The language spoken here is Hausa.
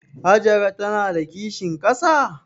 Hajara ta na da kishin ƙasa?